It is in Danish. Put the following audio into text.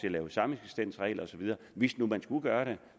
at lave sameksistensregler og så videre hvis nu man skulle gøre det